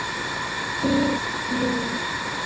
Þín Ína.